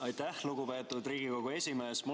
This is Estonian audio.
Aitäh, lugupeetud Riigikogu esimees!